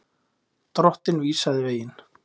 Drottinn vísaði veginn.